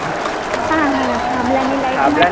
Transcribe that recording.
હા હા થાંભલા